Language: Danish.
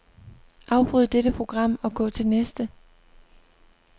Afbryd dette program og gå til næste.